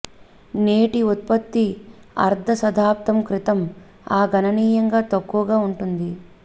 నేటి ఉత్పత్తి అర్ధ శతాబ్దం క్రితం ఆ గణనీయంగా తక్కువగా ఉంటుంది